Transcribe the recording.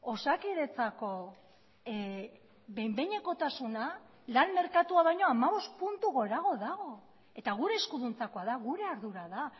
osakidetzako behin behinekotasuna lan merkatua baino hamabost puntu gorago dago eta gure eskuduntzakoa da gure ardura da